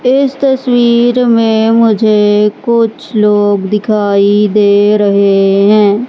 इस तस्वीर में मुझे कुछ लोग दिखाई दे रहे हैं।